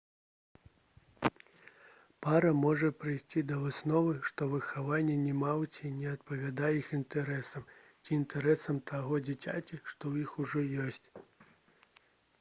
пара можа прыйсці да высновы што выхаванне немаўляці не адпавядае іх інтарэсам ці інтарэсам таго дзіцяці што ў іх ужо ёсць